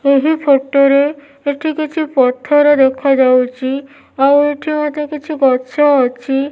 ଏହି ଫୋଟୋ ରେ ଏଠି କିଛି ପଥର ଦେଖା ଯାଉଚି ଆଉ ଏଠି ମଧ୍ୟ କିଛି ଗଛ ଅଛି।